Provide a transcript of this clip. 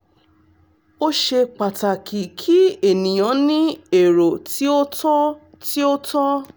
ó ṣe pàtàkì kí ènìyàn ní èrò tí ó tọ́ tí ó tọ́